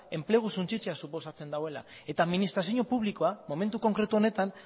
enplegua suntsitzea suposatzen duela administrazio publikoa momentu konkretu honetan